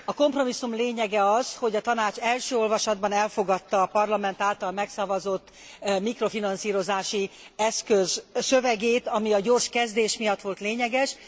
A kompromisszum lényege az, hogy a Tanács első olvasatban elfogadta a Parlament által megszavazott mikrofinanszírozási eszköz szövegét, ami a gyors a kezdés miatt volt lényeges.